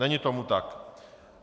Není tomu tak.